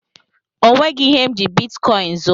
O nweghị ihe m ji bitkọin zuo.